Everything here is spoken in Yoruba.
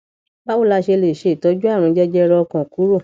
báwo la ṣe lè se itoju àrùn jẹjẹrẹ ọkàn kúrò